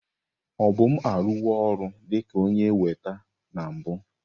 Obum arụwo ọrụ dị ka onye weta na mbụ.